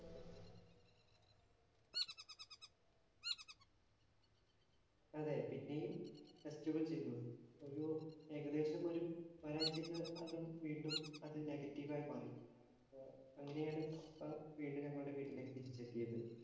അതെ, പിന്നെയും test കള്‍ ചെയ്തു. ഒരു ഏകദേശം ഒരു ഒരാഴ്ചയ്ക്കകം വീണ്ടും അത് negative ആയി മാറി.